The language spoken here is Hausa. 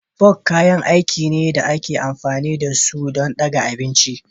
Forks kayan aiki ne da ake amfani da su don ɗaga abinci